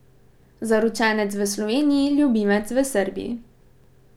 Zaročenec v Sloveniji, ljubimec v Srbiji.